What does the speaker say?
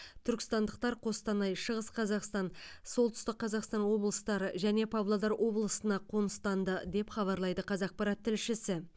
түркістандықтар қостанай шығыс қазақстан солтүстік қазақстан облыстары және павлодар облысына қоныстанды деп хабарлайды қазақпарат тілшісі